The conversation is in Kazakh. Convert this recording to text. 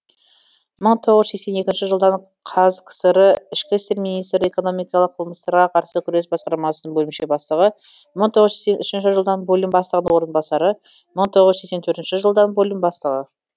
мың тоғыз жүз сексен екінші жылдан қазкср ішкі істер министрі экономикалық қылмыстарға қарсы күрес басқармасының бөлімше бастығы мың тоғыз жүз сексен үшінші жылдан бөлім бастығының орынбасары мың тоғыз жүз сексен төртінші жылдан бөлім бастығы